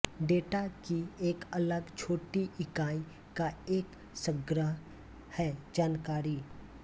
data की एक अलग छोटी इकाई का एक संग्रह है जानकारी